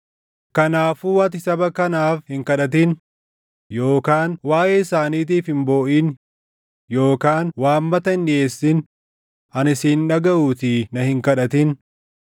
“Kanaafuu ati saba kanaaf hin kadhatin; yookaan waaʼee isaaniitiif hin booʼin yookaan waammata hin dhiʼeessin; ani si hin dhagaʼuutii na hin kadhatin.